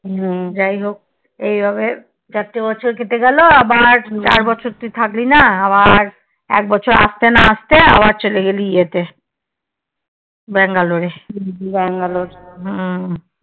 যাইহোক এইভাবে চারটে বছর কেটে গেল আবার চার বছর তুই থাকলি না আবার এক বছর আসতে না আসতে চলে গেলি ইয়েতে Bangalore এ হম